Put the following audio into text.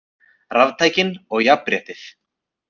Raftækin og jafnréttið